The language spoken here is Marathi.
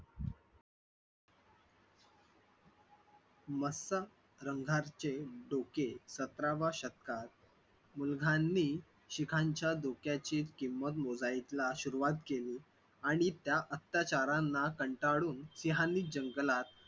मस्त रंगरागचे डोके सतराव्या शतकात मुघलांनी शिखांच्या डोक्याची किंमत मोजायला सुरुवात केली आणि त्या अत्याचारांना कंटाळून सिंहांनी जंगलात